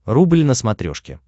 рубль на смотрешке